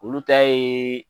Olu ta yeee